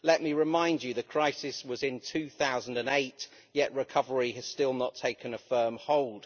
Let me remind you that the crisis was in 2008, yet recovery has still not taken a firm hold.